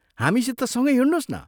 हामीसित सँगै हिंड्नोस् न?